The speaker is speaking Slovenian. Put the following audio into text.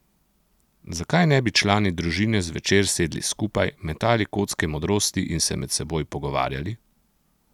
Zakaj ne bi člani družine zvečer sedli skupaj, metali kocke modrosti in se med seboj pogovarjali?